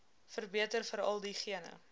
verbeter veral diegene